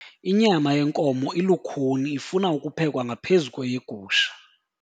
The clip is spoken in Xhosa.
Inyama yenkomo ilukhuni ifuna ukuphekwa ngaphezu kweyegusha.